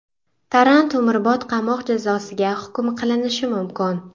Tarrant umrbod qamoq jazosiga hukm qilinishi mumkin.